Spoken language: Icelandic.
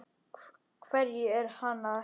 Hverju er hann að heita?